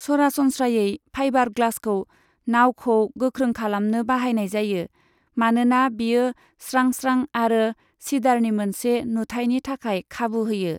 सरासनस्रायै, फाइबार ग्लासखौ, नाउखौ गोख्रों खालामनो बाहायनाय जायो, मानोना बेयो स्रां स्रां आरो सिदारनि मोनसे नुथायनि थाखाय खाबु होयो।